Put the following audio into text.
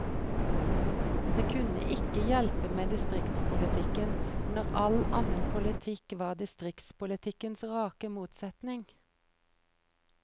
Det kunne ikke hjelpe med distriktspolitikken, når all annen politikk var distriktspolitikkens rake motsetning.